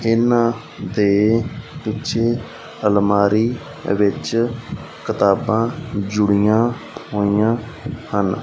ਇਹਨਾਂ ਦੇ ਪਿੱਛੇ ਅਲਮਾਰੀ ਵਿੱਚ ਕਿਤਾਬਾਂ ਜੁੜੀਆ ਹੋਈਆਂ ਹਨ।